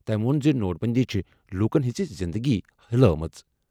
تٔمۍ ووٚن زِ نوٹ بندی چھِ لوٗکَن ہٕنٛز زِنٛدگی ہلٲومٕژ۔